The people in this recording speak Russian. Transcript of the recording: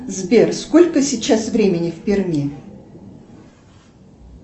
сбер сколько сейчас времени в перми